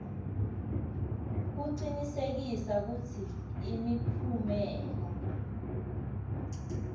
kucinisekisa kutsi imiphumela